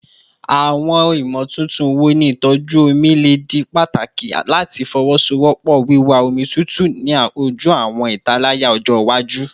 Awọn imotuntun wo ni itọju omi le di pataki lati fowosowopo wiwa omi tutu ni oju awọn italaya ọjọ iwaju?